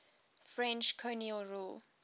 french colonial rule